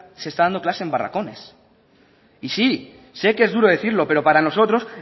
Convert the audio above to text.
se están dando clase en barracones y sí sé que es duro decirlo pero para nosotros